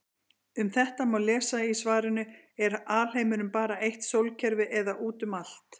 Um þetta má lesa í svarinu Er alheimurinn bara eitt sólkerfi eða út um allt?